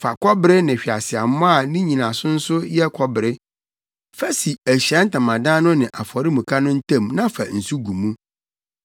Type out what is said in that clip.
“Fa kɔbere yɛ hweaseammɔ a ne nnyinaso nso yɛ kɔbere. Fa si Ahyiae Ntamadan no ne afɔremuka no ntam na fa nsu gu mu.